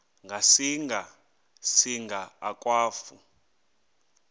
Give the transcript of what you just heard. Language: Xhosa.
ngasinga singa akwafu